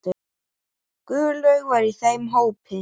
Guðlaug var í þeim hópi.